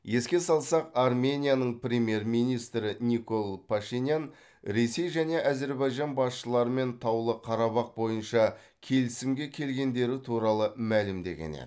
еске салсақ арменияның премьер министрі никол пашинян ресей және әзірбайжан басшыларымен таулы қарабақ бойынша келісімге келгендері туралы мәлімдеген еді